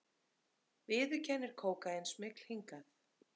Viðurkennir kókaínsmygl hingað